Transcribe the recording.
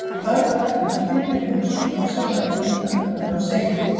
Örn gat ekki hrint þeirri hugsun frá sér að eitthvað undarlegt væri á seyði.